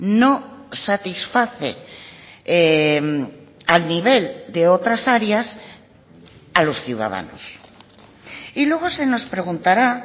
no satisface al nivel de otras áreas a los ciudadanos y luego se nos preguntará